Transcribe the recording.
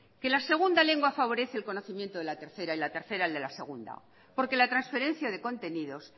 que la segunda lengua favorece el conocimiento de la tercera y la tercera el de la segunda porque la transferencia de contenidos